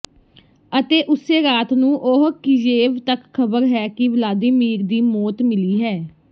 ਅਤੇ ਉਸੇ ਰਾਤ ਨੂੰ ਉਹ ਕਿਯੇਵ ਤੱਕ ਖਬਰ ਹੈ ਕਿ ਵਲਾਦੀਮੀਰ ਦੀ ਮੌਤ ਮਿਲੀ ਹੈ